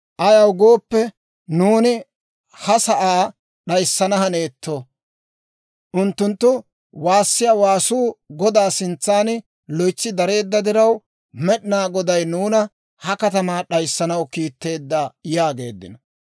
Ayaw gooppe, nuuni ha sa'aa d'ayssana haneetto. Unttunttu waassiyaa waasuu Godaa sintsan loytsi dareedda diraw, Med'inaa Goday nuuna ha katamaa d'ayssanaw kiitteedda» yaageeddino.